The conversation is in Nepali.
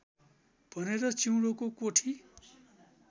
भनेर चिउँडोको कोठी